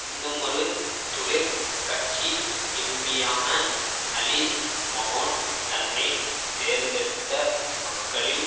இன்னுமொரு தொழிற் கட்சி எம்பியான அலிஸ் மகோன் தன்னை தேர்ந்தெடுத்த மக்களில்